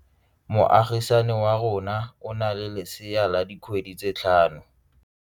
Moagisane wa rona o na le lesea la dikgwedi tse tlhano.